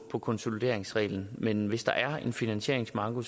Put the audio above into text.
for konsolideringsreglen men hvis der er en finansieringsmanko